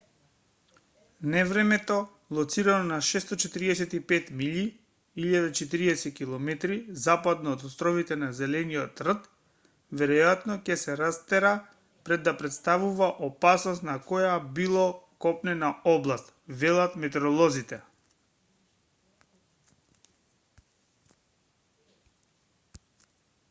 невремето лоцирано на 645 милји 1040 км западно од островите на зелениот 'рт веројатно ќе се растера пред да претставува опасност на која било копнена област велат метереолозите